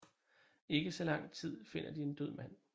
Ikke så lang tid finder de en død mand